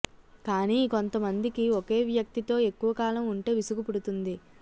కానీ కొంత మందికి ఒకే వ్యక్తీ తో ఎక్కువకాలం ఉంటే విసుగు పుడుతుంది